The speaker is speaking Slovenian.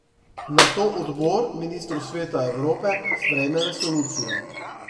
Nato Odbor ministrov Sveta Evrope sprejme resolucijo.